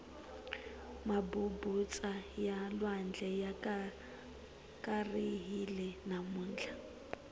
mabubutsa ya lwandle ya karihile namuntlha